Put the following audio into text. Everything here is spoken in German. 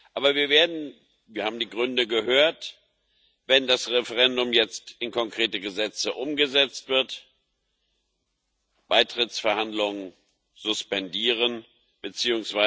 Aber wir werden wir haben die Gründe gehört wenn das Referendum jetzt in konkrete Gesetze umgesetzt wird, Beitrittsverhandlungen suspendieren bzw.